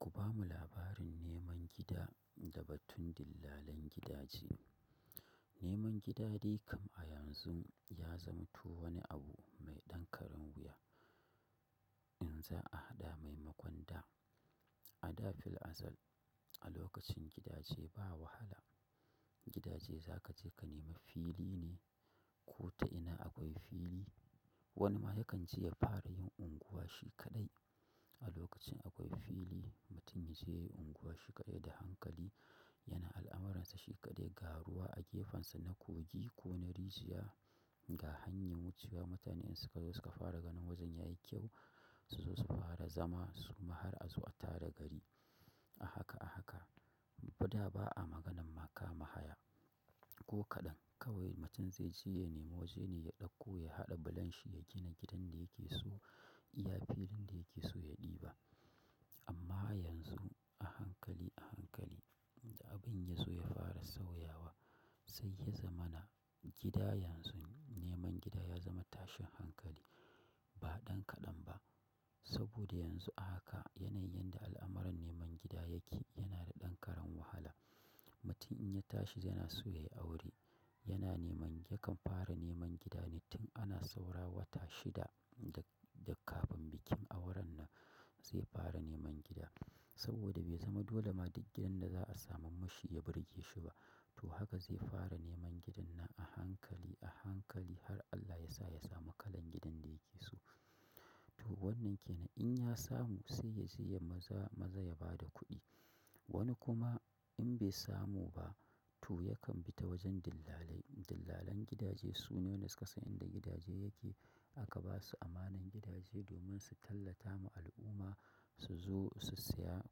Ku bamu labarin neman gida da batun dillalan gidaje. Neman gida dai kam a yanzu ya zamto wani abu mai dankaren wuya in za a haɗa maimakon da. A da fil azal a lokacin gidaje ba wahala. Gidaje za ka je ka nema fili ne. Ko ta'ina akwai fili. Wani ma yakan je ya fara yin unguwa shi kaɗai. A lokacin akwai fili, mutum ya sai unguwa shi kaɗai da hankali. Yana al'amuran sa shi ka dai, ga ruwa a gefen sa na kogi ko na rijiya, ga hanyan wucewa mutane in suka zo suka fara ganin wajen yayi kyau. Su zo su fara zama su ma har a zo a tara gari. A haka--a haka ko da ba'a maganan ma kama haya. Ko kaɗan kawai mutum zai je ya nema waje ne ya ɗauko ya haɗa bulon shi ya gina gidan da yake so. Iya filin da yake so ya ɗiba. Amma yanzu a hankali--a hankali da abun ya zo ya fara sauyawa. Sai ya zama na gida yanzu neman gida ya zama tashin hankali. Ba ɗan kaɗan ba. Saboda yanzu a haka yanayin yanda al'amuran neman gida yake yana da dan karen wahala. Mutum in ya tashi yana so ya yi aure yana neman--yakan fara neman gida ne tun ana saura wata shida da kafin bikin auren nan zai fara neman gida. Saboda bai zama dole ma duk gidan da za a samun mashi ya burge shi ba. To haka zai fara neman gidan nan a hankali--a hankali har Allah ya sa ya samu kalan gidan da yake so. To wannan ke nan in ya samu sai ya je ya ma za--ma za ya ba da kuɗi. Wani kuma in bai samu ba, to yakan bi ta wajen dillalai. Dillalan gidaje suna wanda suka san inda gidaje yake. Aka ba su amanar gidaje domin su tallata ma al'umma su zo su saya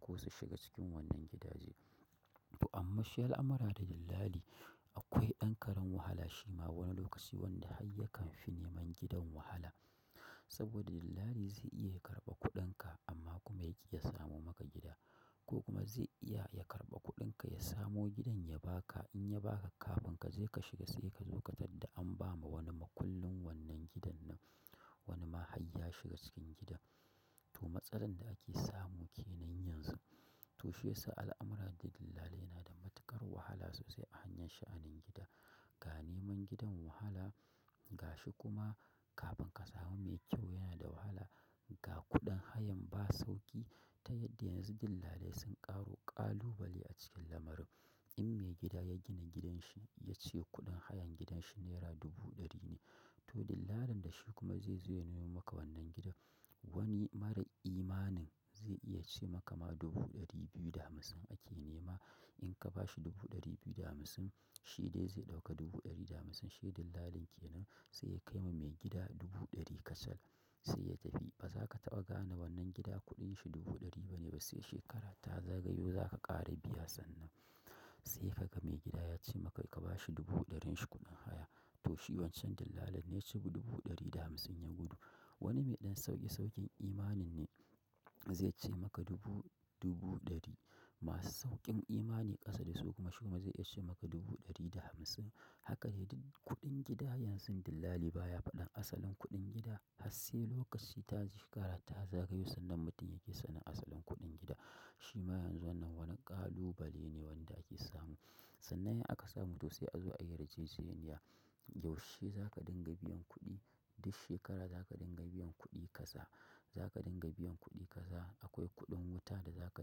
ko su shiga cikin wannan gidaje. To amma shi al'amara da dillali akwai dan karen wahala shi ma wani lokaci wanda hayya kan fi neman gidan wahala. Saboda dillali zai iya ya karɓa kuɗin ka amma kuma ya ki ya samo maka gida. Ko kuma zai iya ya karɓa kuɗin ka ya samo gidan ya ba ka. In ya baka, kafin kaje ka shiga sai ka zo ka tadda an bama wani makwallin wannan gidan nan. Wani ma hayya shiga cikin gida. To matsalan da ake samu ke nan yanzu. To shi yasa al'amura da dillalai yana da matuƙar wahala sosai a hanyar sha'anin gida. Ga neman gidan wahala ga shi kuma kafin ka samu mai kyau yana da wahala. Ga kuɗin hayan ba sauƙi ta yadda yanzu dillalai sun karo kalubale a cikin lamarin in mai gida ya gina gidan shi ya ce kuɗin hayan gidan shi naira dubu ɗari ne to dillalin da shi kuma zai zo ya nemo maka wannan gidan. Wani mara imanin zai iya ce maka ma dubu ɗari biyu da hamsin ake nema in ka bashi dubu ɗari biyu da hamsin, shi dai zai ɗauka dubu ɗari da hamsin, shi dillalin kenan. Sai ya kaima mai gida dubu ɗari kacal sai ya tafi. Ba za ka taɓa gane wannan gida kuɗin shi dubu ɗari ba ne ba sai shekara ta zagayo za ka ƙara biya sannan. Sai ka ga maigida ya ce maka ka ba shi dubu ɗarin shi kuɗin haya. To shi wancan dillalin ne ya ci dubu ɗari da hamsin ya gudu. Wani mai ɗan sauƙi sauƙin imanin ne zai ce maka dubu--dubu ɗari. Masu sauƙin imani ƙasa da su kuma shi ma zai iya ce maka dubu ɗari da hamsin. Haka dai duk kuɗin gida yanzun dillali baya faɗan asalin kuɗin gida har sai lokaci ta shekara ta zagayo sannan mutum yake sanin asalin kuɗin gida. Shi ma yanzu wannan wani ƙalubale ne wanda ake samu. Sannan in aka samu to sai a zo ayi yarjejeniya. Yaushe za ka dinga biyan kuɗi duk shekara za ka dinga biyan kuɗi kaza. Za ka dinga biyan kuɗi kaza. Akwai kuɗin wuta da za ka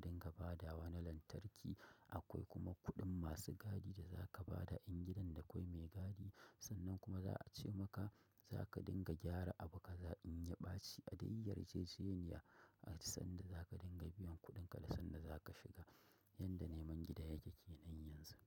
dinga badawa na lantarki. Akwai kuma kuɗin masu gadi da za ka bada in gidan da kwai mai gadi. Sannan kuma za a ce maka za ka dinga gyara abu ka za in ya ɓaci. A dai yarjejeniya an san yanda za ka dinga biyan kuɗin ka da sanda za ka shiga. Yanda neman gida yake ke nan yanzu.